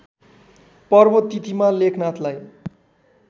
पर्व तिथिमा लेखनाथलाई